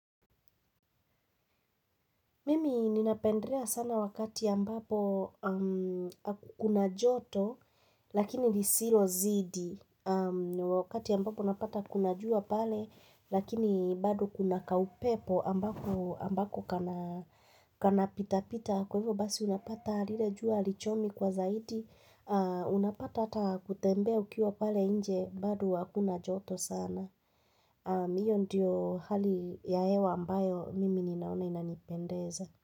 Mimi ninapendelea sana wakati ambapo kuna joto lakinini lisilozidi wakati ambapo napata kuna jua pale lakini bado kuna kaupepo ambako kana pita pita kwa hivyo basi unapata lilejua halichomi kwa zaidi unapata hata kutembea ukiwa pale nje bado hakuna joto sana. Hiyo ndiyo hali ya hewa ambayo mimi ninaona inanipendeza.